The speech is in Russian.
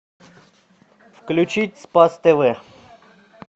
включить спас тв